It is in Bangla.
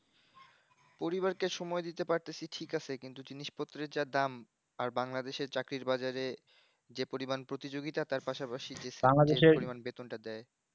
পরিবারকে সময় দিতে পারতাছি ঠিক আছে কিন্তু জিনিস পত্রের যা দাম আর বাংলাদেশ এ চাকরির বাজারে যে পরিমান প্রতিযোগিতা তার পাশাপাশি যে সামান্য পরিমান বেতন ট দেয়